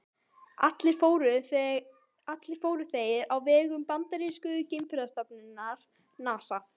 Allir fóru þeir á vegum bandarísku geimferðastofnunarinnar NASA.